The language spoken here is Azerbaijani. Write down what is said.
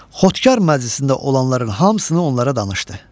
Xodkar məclisində olanların hamısını onlara danışdı.